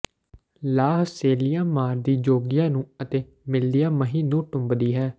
ਲਾਹ ਸੇਲ੍ਹੀਆਂ ਮਾਰਦੀ ਜੋਗੀਆਂ ਨੂੰ ਅਤੇ ਮਿਲਦੀਆਂ ਮਹੀਂ ਨੂੰ ਟੁੰਬਦੀ ਹੈ